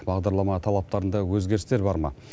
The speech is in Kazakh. бағдарлама талаптарында өзгерістер бар ма